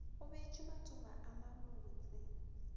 go bjetšwe matšoba a mabotse